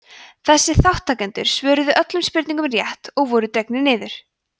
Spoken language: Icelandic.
þessir þátttakendur svöruðu öllum spurningunum rétt og voru dregnir út